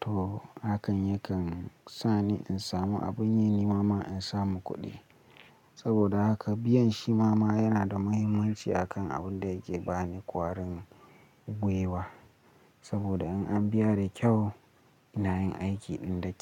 to hakan yakan sa ni in samu abun yi ni mama in samu kuɗi. Saboda haka biyan shi mama yana da muhimmanci a kan abin da yake ba ni kwarin gwiwa. Saboda in an biya da kyau ina yin aikin ɗin da kyau.